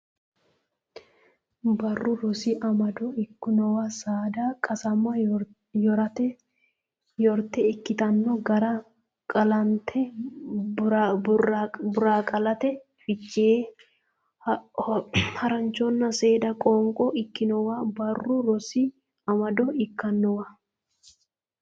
Barru Rosi Amado ikkinowa saada qasama yorate ikkitanno gara Qaallannita Borqaallate Fiche Haranchonna seeda qoonqo ikkinowa Barru Rosi Amado ikkinowa.